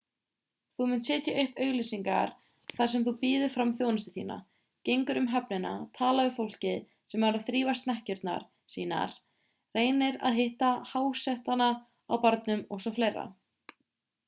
þú munt setja upp auglýsingar þar sem þú býður fram þjónustu þína gengur um höfnina talar við fólkið sem er að þrífa snekkjurnar sínar reynir að hitta hásetana á barnum o.s.frv